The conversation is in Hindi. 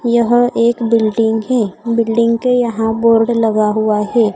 यह एक बिल्डिंग है बिल्डिंग के यहां बोर्ड लगा हुआ है।